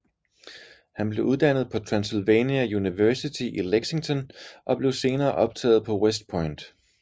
Han blev uddannet på Transylvania University i Lexington og blev senere optaget på West Point